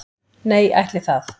Nei ætli það.